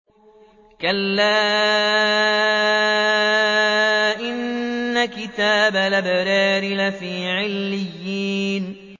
كَلَّا إِنَّ كِتَابَ الْأَبْرَارِ لَفِي عِلِّيِّينَ